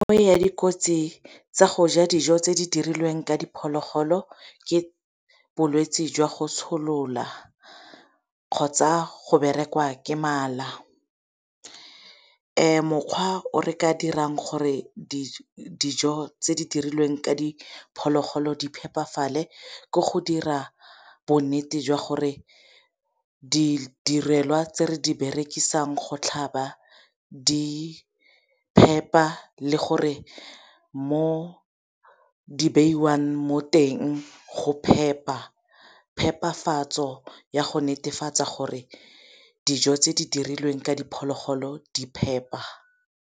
dikotsi tsa go ja dijo tse di dirilweng ka diphologolo ke bolwetsi jwa go tsholola kgotsa go berekiwa ke mala. Mokgwa o re ka dirang gore dijo tse di dirilweng ka diphologolo di phepafale ke go dira bonnete jwa gore di direlwa tse re di berekisang go tlhaba di phepa le gore mo di beiwang mo teng go phepa. Phepafatso ya go netefatsa gore dijo tse di dirilweng ka diphologolo di phepa.